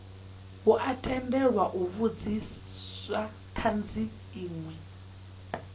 tendelwa u vhudzisa thanzi inwe